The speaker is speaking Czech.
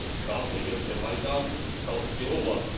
Zdá se, že se Majdan stal stěhovavým.